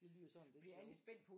Det lyder sådan lidt sjovt